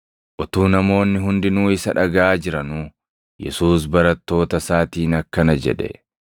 Utuu namoonni hundinuu isa dhagaʼaa jiranuu, Yesuus barattoota isaatiin akkana jedhe;